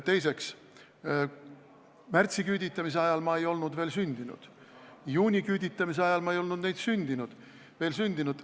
Teiseks, märtsiküüditamise ajal ei olnud ma veel sündinud, juuniküüditamise ajal ei olnud ma veel sündinud.